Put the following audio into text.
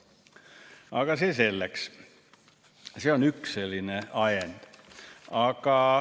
Aga see selleks, see on üks selline ajend.